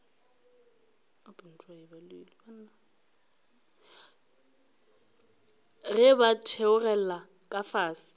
ge ba theogela ka fase